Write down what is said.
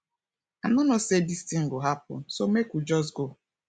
i no know say dis thing go happen so make we just go